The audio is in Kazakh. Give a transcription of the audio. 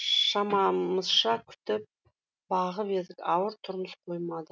шамамызша күтіп бағып едік ауыр тұрмыс қоймады